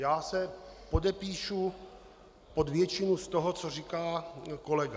Já se podepíšu pod většinu z toho, co říká kolega.